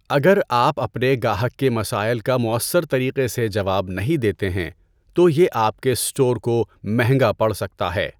اگر آپ اپنے گاہک کے مسائل کا مؤثر طریقے سے جواب نہیں دیتے ہیں، تو یہ آپ کے اسٹور کو مہنگا پڑ سکتا ہے۔